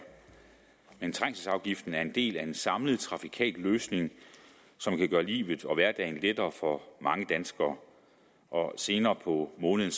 men trængselsafgiften er en del af en samlet trafikal løsning som kan gøre livet og hverdagen lettere for mange danskere senere på måneden